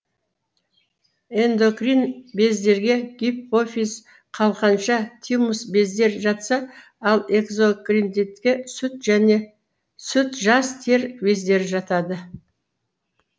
эндокрин бездерге гифопиз қалқанша тимус бездер жатса ал экзокриндидке сүт жас тер бездері жатады